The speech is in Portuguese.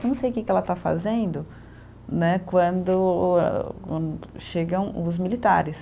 Não sei que que ela está fazendo né, quando o eh o chegam os militares.